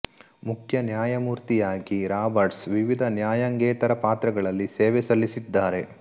ಮುಖ್ಯ ನ್ಯಾಯಮೂರ್ತಿಯಾಗಿ ರಾಬರ್ಟ್ಸ್ ವಿವಿಧ ನ್ಯಾಯಾಂಗೇತರ ಪಾತ್ರಗಳಲ್ಲಿ ಸೇವೆ ಸಲ್ಲಿಸಿದ್ದಾರೆ